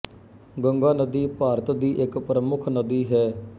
ਗੰਗਾ ਨਦੀ ਭਾਰਤ ਦੀ ਇੱਕ ਪ੍ਰਮੁੱਖ ਨਦੀ ਹੈ